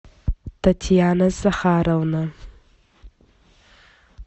татьяна захаровна